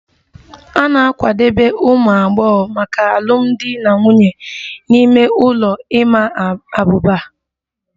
A na-akwadebe ụmụ agbọghọ maka alụmdi na nwunye n'ime ụlọ ịma abuba